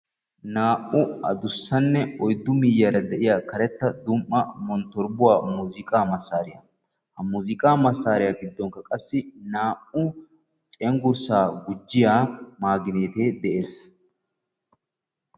Naa"u addussanne oyddu miyyiyara de"iya karetta dumm"a monttorobbuwa muuziiqaa massaariya. Ha muuziiqaa. massaariya giddoonikka qassi naa"u cenggurssaa gujjiya maaginiite de"es.